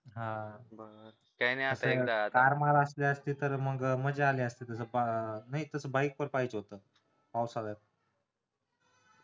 हा car असली असती तर मज्जा आली असती मग नाही तस bike पण पाहिजे होत पावसाळ्यात